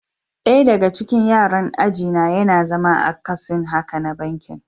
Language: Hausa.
Daya daga cikin yaran aji na yana zama akasin haka na bankin.